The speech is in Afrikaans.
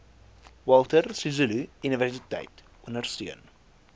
walter sisuluuniversiteit ondersteun